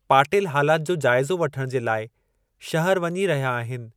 पाटिल हालात जो जाइज़ो वठणु जे लाइ शहरु वञी रहिया आहिनि।